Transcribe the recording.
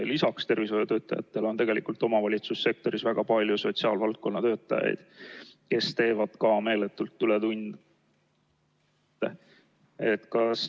Lisaks tervishoiutöötajatele on omavalitsussektoris väga palju sotsiaalvaldkonna töötajaid, kes teevad meeletult ületunde.